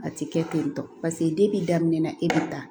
A ti kɛ ten tɔ paseke daminɛ na e bɛ taa